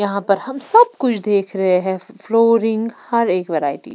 यहां पर हम सब कुछ देख रहे हैं फ्लोरिंग हर एक वैरायटी --